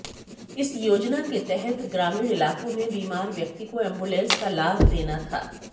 इस योजना के तहत ग्रामीण इलाकों में बीमार व्यक्ति को एंबुलेंस का लाभ देना था